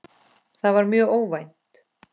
Það var mjög óvænt.